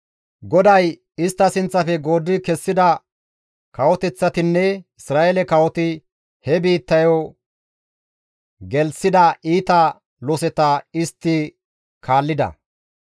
GODAY istta sinththafe gooddi kessida kawoteththatinne Isra7eele kawoti he biittayo gelththida iita loseta istti kaallida.